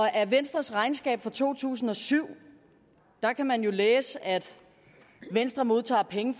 af venstres regnskab for to tusind og syv kan man læse at venstre modtager penge